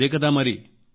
అదే కదా మరి